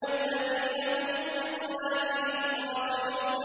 الَّذِينَ هُمْ فِي صَلَاتِهِمْ خَاشِعُونَ